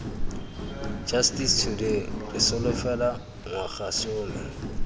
justice today re solofela ngwagasome